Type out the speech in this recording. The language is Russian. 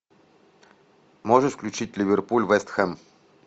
можешь включить ливерпуль вест хэм